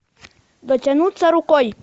дотянуться рукой